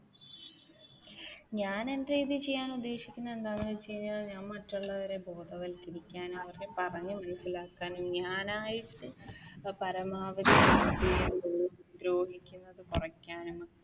ഞാൻ എന്റെ രീതിയിൽ ചെയ്യാൻ ഉദ്ദേശിക്കുന്നത് എന്താണെന്ന് വെച്ച് കഴിഞ്ഞാൽ ഞാൻ മറ്റുള്ളവരെ ബോധവൽക്കരിക്കാനും അവരെ പറഞ്ഞു മനസ്സിലാക്കാനും ഞാനായിട്ട് പരമാവധി ദ്രോഹിക്കുന്നത് കുറയ്ക്കാനും